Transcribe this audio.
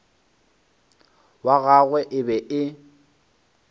wa gagwe e be e